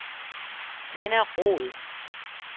Tenna Roed